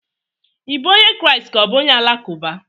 Ị bụ onye Kraịst ka ọ bụ onye Alakụba?